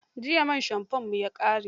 Jiya man shamfonmu ya ƙare.